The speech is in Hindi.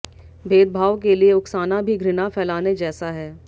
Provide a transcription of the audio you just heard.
भेदभाव के लिए उकसाना भी घृणा फैलाने जैसा है